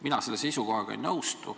Mina selle seisukohaga ei nõustu.